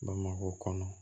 Bamakɔ kɔnɔ